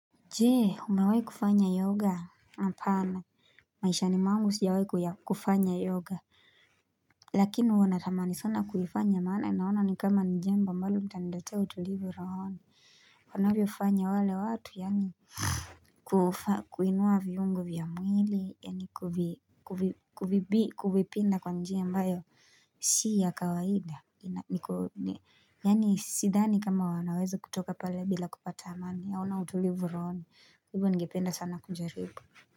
Jee umawai kufanya yoga hapana maishani mwangu sijawai kufanya yoga Lakini huwa natamani sana kulifanya maana naona ni kama jambo ambalo mtandache utulivu rohoni wanavyo ufanya wale watu yaani kufa kuinua viungo vya mwili yaani kuwipinda kwa njia ambayo Si ya kawaida yaani sidhani kama wanaweza kutoka pale bila kupata amani yaona utulivu rohoni kwa hivo ningependa sana kujaribu.